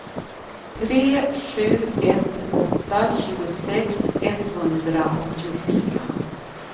tre sju ett åtta tjugosex etthundraåttiofyra